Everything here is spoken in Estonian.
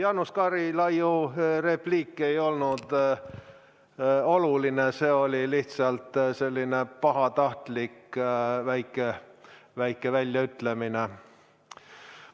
Jaanus Karilaiu repliik ei olnud oluline, see oli lihtsalt selline pahatahtlik väike väljaütlemine.